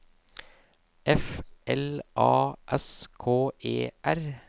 F L A S K E R